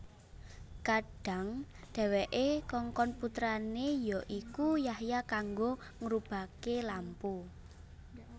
Kadhang dhèwèké kongkon putrané ya iku Yahya kanggo ngurubaké lampu